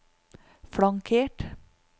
flankert